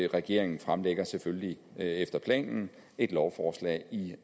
regeringen fremsætter selvfølgelig efter planen et lovforslag i